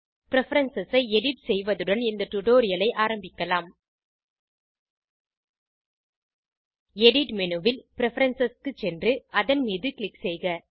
preference ஐ edit செய்வதுடன் இந்த டுடோரியலை ஆரம்பிக்கலாம் எடிட் மேனு ல் பிரெஃபரன்ஸ் க்கு சென்று அதன் மீது க்ளிக் செய்க